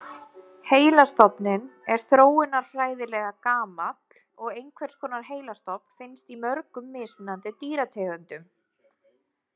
Heilastofninn er þróunarfræðilega gamall og einhvers konar heilastofn finnst í mörgum mismunandi dýrategundum.